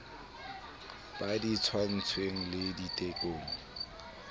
ba di tshwaetsweng le ditekolo